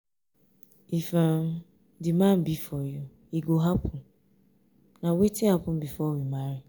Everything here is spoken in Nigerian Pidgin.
if um the man be for you e go happen. um na wetin happen before we marry.